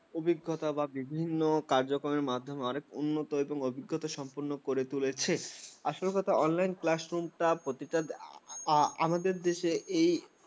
অভিজ্ঞতা বা বিভিন্ন কার্যক্রমের মাধ্যমে অনেক উন্নত এবং অভিজ্ঞতাসম্পন্ন করে তুলেছে। আসল কথা classroom টা প্রতিটা আমাদের দেশে